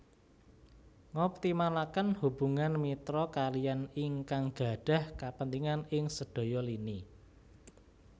Ngoptimalaken hubungan mitra kaliyan ingkang gadhah kapentingan ing sedaya lini